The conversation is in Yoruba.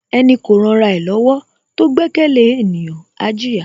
Ẹni kò ran ra ẹ lọ́wọ́ tó gbẹ́kẹ̀lé ènìyàn, á jìyà.